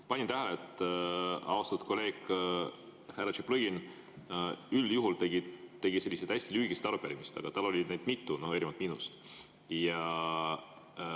Ma panin tähele, et austatud kolleeg härra Tšaplõgin üldjuhul tegi selliseid hästi lühikesi arupärimisi, aga tal oli neid erinevalt minust mitu.